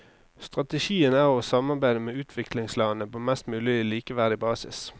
Strategien er å samarbeide med utviklingslandene på mest mulig likeverdig basis.